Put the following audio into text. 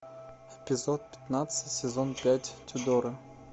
эпизод пятнадцать сезон пять тюдоры